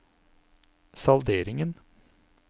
salderingen